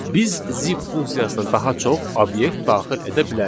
Biz zip funksiyasına daha çox obyekt daxil edə bilərik.